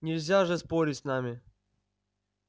нельзя же спорить с ними